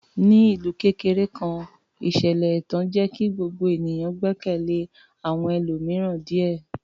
Ní ìlú kékeré kan, ìṣẹ̀lẹ̀ ẹ̀tàn jẹ́ kí gbogbo ènìyàn gbẹ́kẹ̀lé àwọn ẹlòmíràn díẹ̀.